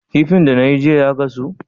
Kifin da nayi jiya ya gasu?